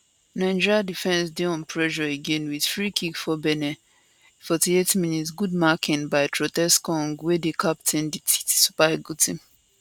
nigeria defence dey on pressure again wit free kick for benin 48mins good marking by troostekong wey dey captain di super eagles